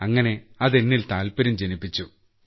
അങ്ങനെ അത് എന്നിൽ താൽപര്യം ജനിപ്പിച്ചു